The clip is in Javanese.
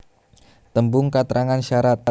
Tembung katrangan syarat